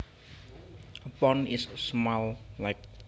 A pond is a small lake